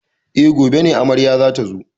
E, gobe ne amarya za ta zo.